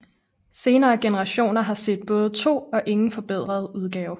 Senere generationer har set både to og ingen forbedret udgave